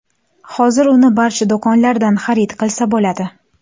Hozir uni barcha do‘konlardan xarid qilsa bo‘ladi.